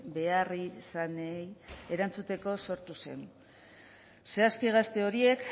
beharrizanei erantzuteko sortu zen zehazki gazte horiek